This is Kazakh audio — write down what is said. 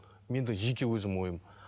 менде жеке өзімнің ойым